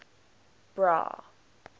bra